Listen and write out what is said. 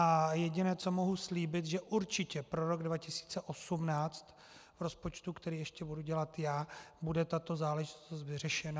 A jediné, co mohu slíbit, že určitě pro rok 2018 v rozpočtu, který ještě budu dělat já, bude tato záležitost vyřešena.